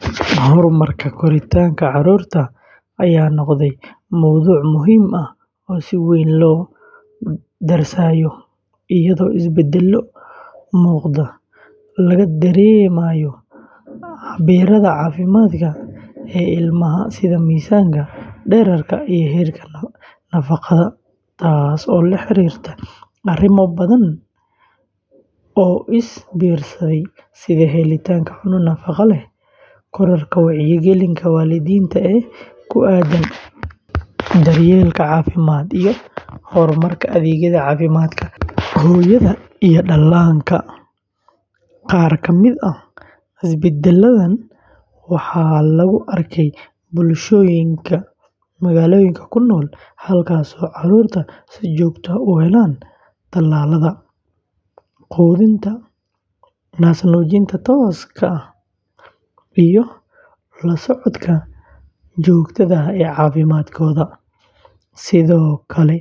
Horumarka koritaanka carruurta ayaa noqday mowduuc muhiim ah oo si weyn loo darsayo, iyadoo isbeddello muuqda laga dareemayo cabbirrada caafimaad ee ilmaha sida miisaanka, dhererka, iyo heerka nafaqada, taas oo la xiriirta arrimo badan oo is biirsaday sida helitaanka cunto nafaqo leh, kororka wacyigelinta waalidiinta ee ku aaddan daryeelka caafimaad, iyo horumarka adeegyada caafimaadka hooyada iyo dhallaanka. Qaar ka mid ah isbeddelladan waxaa lagu arkay bulshooyinka magaalooyinka ku nool, halkaas oo carruurtu si joogto ah u helaan tallaalada, quudinta naas-nuujinta tooska ah, iyo la socodka joogtada ah ee caafimaadkooda. Sidoo kale,